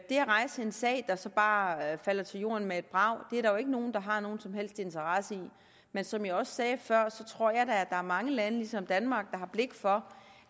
rejse en sag der så bare falder til jorden med et brag er der jo ikke nogen der har nogen som helst interesse i men som jeg også sagde før tror jeg da at der er mange lande der ligesom danmark har blik for